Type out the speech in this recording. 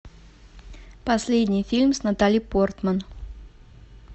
последний фильм с натали портман